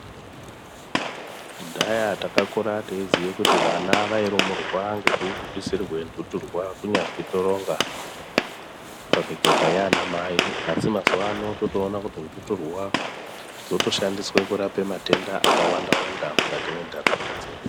Kudhaya takakure teiziye kuti vana vairumurwa ngekuputisirwe nhuturwa kunyazwi toronga pamikaka yaanamai asi mazuwa ano totoone kuti nhuturwa dzotoshandiswe kurapa matenda akawandawanda mukati mwenharaunda dzedu.